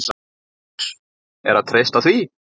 LÁRUS: Er að treysta því?